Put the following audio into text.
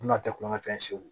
Na tɛ kulonkɛ fɛn se